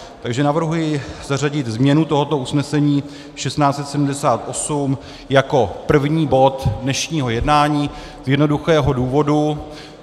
Takže navrhuji zařadit změnu tohoto usnesení 1678 jako první bod dnešního jednání z jednoduchého důvodu.